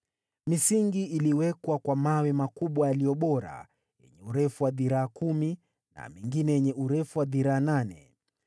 Misingi iliwekwa kwa mawe makubwa yaliyo bora, yenye urefu wa dhiraa kumi na mengine yenye urefu wa dhiraa nane